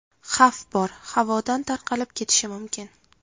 Xavf bor, havodan tarqalib ketishi mumkin.